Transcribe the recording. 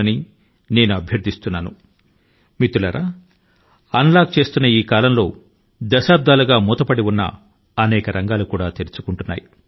మిత్రులారా ఈ unlock దశ లో మరెన్నో విషయాలు కూడా ఏవయితే ఇంత వరకు దేశాన్ని బంధించి ఉంచాయో మరి వాటి బంధనాల యొక్క తాళాల ను కూడా తెరచుకొంటున్నాయి